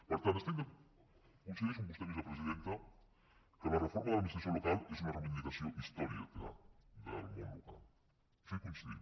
per tant coincideixo amb vostè vicepresidenta que la reforma de l’administració local és una reivindicació històrica del món local en això hi coincidim